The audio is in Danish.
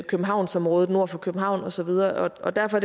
københavnsområdet og nord for københavn og så videre og derfor